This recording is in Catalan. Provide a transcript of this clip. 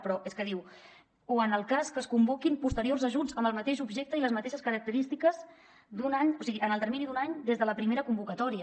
però és que diu o en el cas que es convoquin posteriors ajuts amb el mateix objecte i les mateixes característiques en el termini d’un any des de la primera convocatòria